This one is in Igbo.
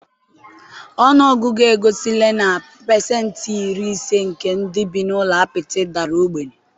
ọnụ ọgụgụ egosila na pasentị iri ise nke ndị bi n'ụlọ apịtị dara ogbenye